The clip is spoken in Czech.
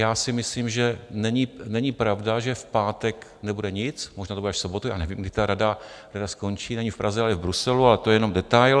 Já si myslím, že není pravda, že v pátek nebude nic, možná to bude až v sobotu, já nevím, kdy ta rada skončí, není v Praze, ale je v Bruselu, ale to je jenom detail.